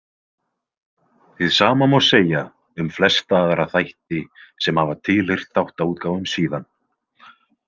Hið sama má segja um flesta aðra þætti sem hafa tilheyrt þáttaútgáfum síðan.